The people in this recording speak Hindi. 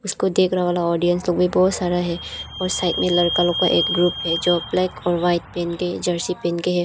इसको देखने वाला ऑडियंस तो भी बहुत सारा है और साइड में लड़का लोग का एक ग्रुप है जो ब्लैक एंड व्हाइट पहन के जर्सी पेन के है।